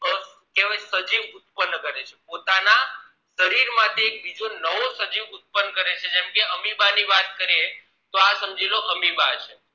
છેવટ સજીવ ઉત્તપન કરે છે પોતાના શરીર માંથી એક બીજો નવો સજીવ ઉત્તપન કરે છે જેમ કે amoeba ની વાત કરીએ તો આ સમજી લો આ amoeba છે